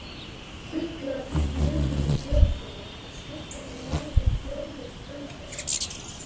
Fuglar flugu í björgunum og skuggarnir liðu hljóðlaust framhjá þeim.